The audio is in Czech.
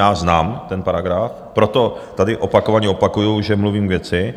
Já znám ten paragraf, proto tady opakovaně opakuji, že mluvím k věci,